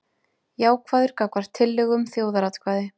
Jákvæður gagnvart tillögu um þjóðaratkvæði